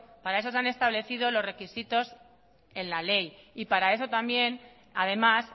para eso se han establecido los requisitos en la ley y para eso también además